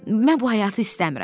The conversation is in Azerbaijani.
Mən bu həyatı istəmirəm.